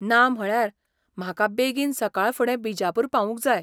ना म्हळ्यार, म्हाका बेगीन सकाळफुडें बिजापूर पावूंक जाय.